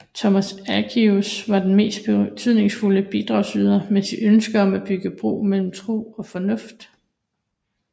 Thomas Aquinas var den mest betydningsfulde bidragsyder med sit ønske om at bygge bro mellem tro og fornuft